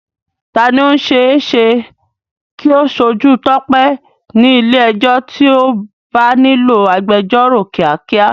Ta ni ó ṣe é ṣe kí ó ṣojú Tope ní ilé ẹjọ́ tí ó bá nílò agbẹjọ́rò kíákíá?